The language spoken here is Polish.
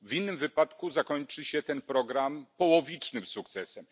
W innym wypadku zakończy się ten program połowicznym sukcesem.